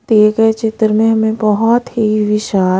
दिए गए चित्र में हमें बहुत ही विशाल--